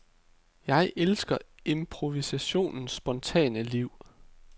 Jeg elsker improvisationens spontane liv.